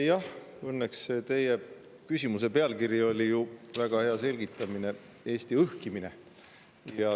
Jah, õnneks oli teie küsimuse pealkirjas ju väga hea selgitus: Eesti õhkimine.